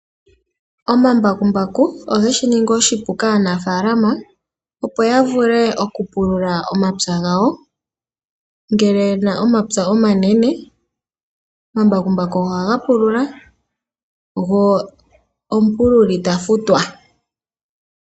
Omambakumbaku ogeshi ningi oshipu kanafaalama opo ya vule okupulula omapya gawo, ngele ye na omapya omanene omambakumbaku ohaga pulula go omupululi ta futwa.